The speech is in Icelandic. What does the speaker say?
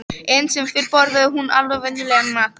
Enn sem fyrr borðaði hún varla venjulegan mat.